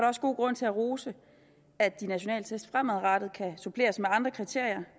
også god grund til at rose at de nationale test fremadrettet kan suppleres med andre kriterier